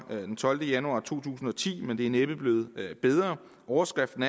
den tolvte januar to tusind og ti men det er næppe blevet bedre overskriften